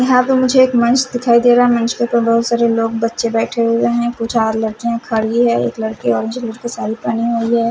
यहाँ पे मुझे एक मंच दिखाई दे रहा मंच के ऊपर बहुत सारे लोग बच्चे बैठे हुए हैं कुछ और लड़कियाँ खड़ी हैं एक लड़की ऑरेंज कलर की साड़ी पहने हुई है।